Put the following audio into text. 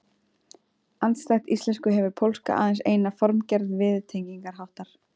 Andstætt íslensku hefur pólska aðeins eina formgerð viðtengingarháttar.